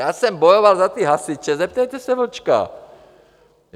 Já jsem bojoval za ty hasiče, zeptejte se Vlčka!